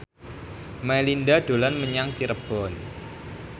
Melinda dolan menyang Cirebon